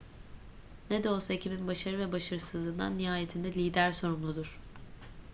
ne de olsa ekibin başarı ve başarısızlığından nihayetinde lider sorumludur